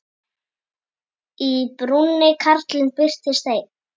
Í brúnni karlinn birtist enn.